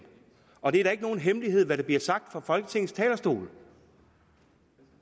og det er da ikke nogen hemmelighed hvad der bliver sagt fra folketingets talerstol